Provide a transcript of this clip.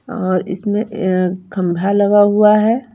और इसमें अः खम्बा लगा हुआ है।